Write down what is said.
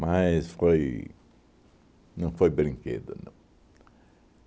foi não foi brinquedo, não.